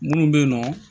Minnu bɛ yen nɔ